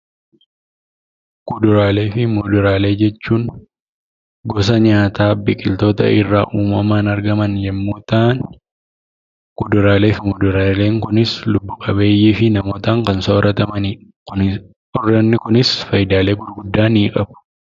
Kuduraalee fi muduraalee jechuun gosa nyaataa uumamaan biqiltoota irraa argamanii yemmuu ta'an, kuduraalee fi muduraaleen kunis lubbu qabeeyyii fi namootaan kan soorratamanidha. Isaan kunis fayidaa gurguddaa ni qabu.